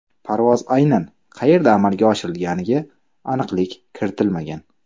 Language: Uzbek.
Parvoz aynan qayerda amalga oshirilganiga aniqlik kiritilmagan.